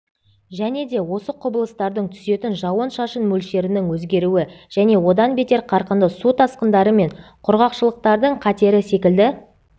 және де осы құбылыстардың түсетін жауын-шашын мөлшерінің өзгеруі және одан бетер қарқынды су тасқындары мен құрғақшылықтардың қатері секілді